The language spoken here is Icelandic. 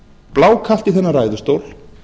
blákalt í þennan ræðustól